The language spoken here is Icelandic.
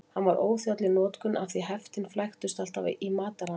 Hann var óþjáll í notkun af því heftin flæktust alltaf í mataranum.